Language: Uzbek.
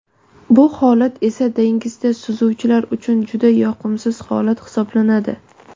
Bu holat esa dengizda suzuvchilar uchun juda yoqimsiz holat hisoblanadi.